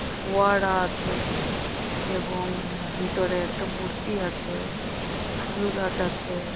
ফুয়ারা আছে এবং ভেতরে একটা মূর্তি আছে ফুল গাছ আছে।